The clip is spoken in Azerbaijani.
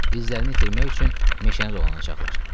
İzlərini itirmək üçün meşəni dolanacaqlar.